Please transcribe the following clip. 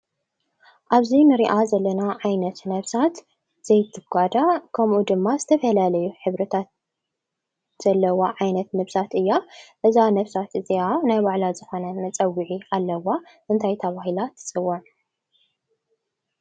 ኣብዚ ንሪኣ ዘለና ዓይነት ነብሳት ዘይትጓዳእ ከምኡ ድማ ዝተፈላለየ ሕብርታት ዘለዋ ዓይነት ነብሳት እያ፡፡ እዛ ነብሳት እዚኣ ናይ ባዕላ ዝኾነ መፀውዒ ኣለዋ፡፡ እንታይ ተባሂላ ትፅዋዕ?